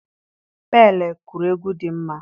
Pele kụrụ egwu dị mma.